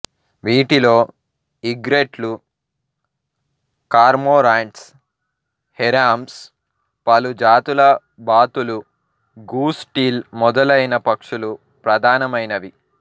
వీటిలో ఈగ్రెట్లు cormorants herons పలు జాతుల బాతులు గూస్ టీల్ మొదలైన పక్షులు ప్రధానమైనవి